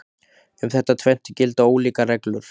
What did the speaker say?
Um þetta tvennt gilda ólíkar reglur.